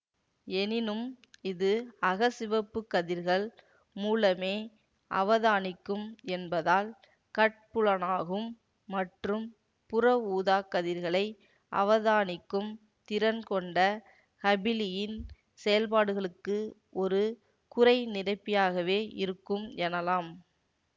எனினும் இது அகச்சிவப்பு கதிர்கள் மூலமே அவதானிக்கும் என்பதால் கட்புலனாகும் மற்றும் புறஊதாக் கதிர்களை அவதானிக்கும் திறன்கொண்ட ஹபிளியின் செயல்பாடுகளுக்கு ஒரு குறை நிரப்பியாகவே இருக்கும் எனலாம்